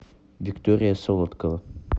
виктория солодкова